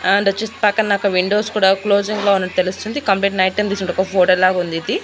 And వచ్చేసి పక్కన నాకు విండోస్ కూడా క్లోజింగ్ లో ఉన్నట్టు తెలుస్తుంది కంప్లీట్ నైట్ టైం తీసినట్టు ఒక ఫోటో లాగా ఉంది ఇది.